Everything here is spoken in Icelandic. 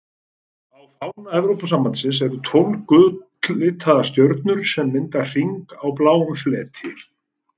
Á fána Evrópusambandsins eru tólf gull-litaðar stjörnur sem mynda hring á bláum fleti.